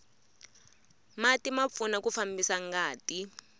mati ma pfuna ku fambisa ngati